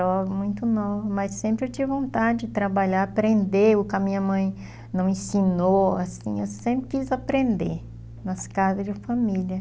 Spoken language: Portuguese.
Era muito jovem, muito nova, mas sempre eu tinha vontade de trabalhar, aprender, o que a minha mãe não ensinou, assim, eu sempre quis aprender nas casas de família.